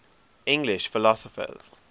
english philosophers